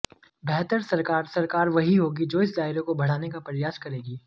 बेहतर सरकार सरकार वही होगी जो इस दायरे को बढ़ाने का प्रयास करेगी